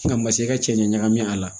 Nka masa i ka cɛncɛn ɲagami a la